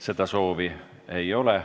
Seda soovi ei ole.